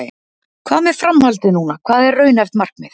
Hvað með framhaldið núna, hvað er raunhæft markmið?